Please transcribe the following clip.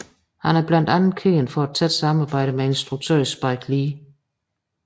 Han er blandt andet kendt for et tæt samarbejde med instruktøren Spike Lee